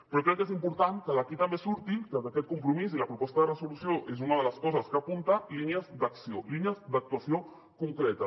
però crec que és important que d’aquí també surtin que d’aquest compromís la proposta de resolució és una de les coses que apunta línies d’acció línies d’actuació concretes